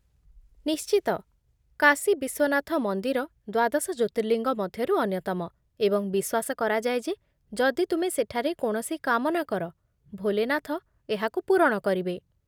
ନିଶ୍ଚିତ, କାଶୀ ବିଶ୍ୱନାଥ ମନ୍ଦିର ଦ୍ୱାଦଶ ଜ୍ୟୋତିର୍ଲିଙ୍ଗ ମଧ୍ୟରୁ ଅନ୍ୟତମ, ଏବଂ ବିଶ୍ୱାସ କରାଯାଏ ଯେ ଯଦି ତୁମେ ସେଠାରେ କୌଣସି କାମନା କର, ଭୋଲେନାଥ ଏହାକୁ ପୂରଣ କରିବେ!